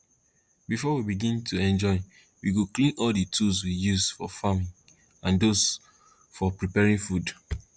before we begin to enjoy we go clean all the tools we used for farming and those for preparing food